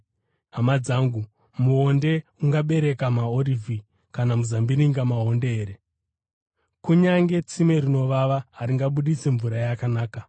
Hama dzangu, muonde ungabereka maorivhi kana muzambiringa maonde here? Kunyange tsime rinovava haringabudisi mvura yakanaka.